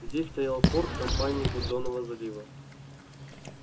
здесь стоял форт компании гудзонова залива